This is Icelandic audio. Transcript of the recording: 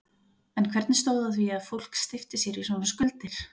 En hvernig stóð á því að fólk steypti sér í svona skuldir?